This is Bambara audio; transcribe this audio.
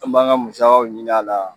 An b'an ka musakaw ɲinin a la.